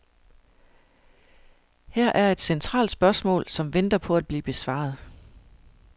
Her er et centralt spørgsmål, som venter på at blive besvaret.